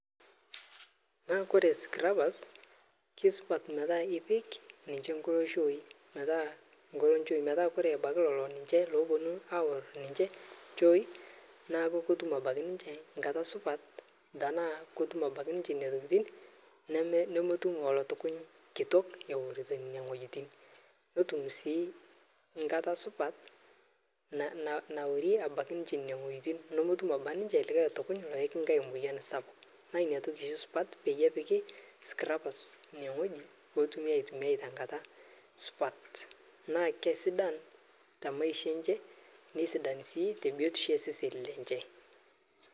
Koree scrubbers kesupat metaa ipik ninche nkalo nchoi metaa ore ebaiki lolo ninche loopuonu aoor ninche nchoi naaku ketum abaiki ninche nkata supat tenaa ketum abaiki ninche nena tokitin nemetum olotukuny kitok eorito ine wuejitin netum sii nkata supat naorie ninche nene wuejitin nemetum ninche likae otukuny oyaki moyian sakpuk naa ina toki oshi esupat pee epiki scrubbers ine wueji pee etum aitumia te nkata supat naa isidain too seseni lenche